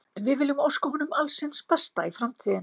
Við viljum óska honum alls hins besta í framtíðinni.